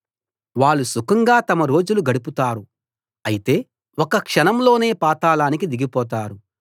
వాళ్ళు సుఖంగా తమ రోజులు గడుపుతారు అయితే ఒక్క క్షణంలోనే పాతాళానికి దిగిపోతారు